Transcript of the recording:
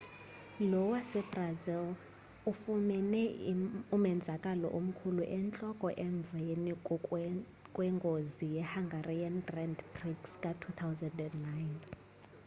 lo wasebrazili ufumene umenzakalo omkhulu entloko emveni kwengozi yehungarian grand prix ka-2009